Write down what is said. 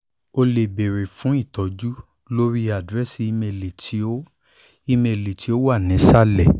o le beere fun itọju lori adirẹsi imeeli ti o imeeli ti o wa ni isalẹ